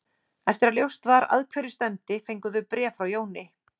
Eftir að ljóst var að hverju stefndi fengu þau bréf frá Jóni